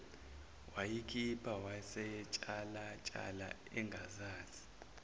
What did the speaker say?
wayiphika wayesentshalantsha engazazi